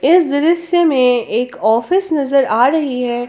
इस दृश्य में एक ऑफिस नजर आ रही है।